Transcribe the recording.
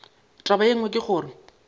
taba ye nngwe ke gore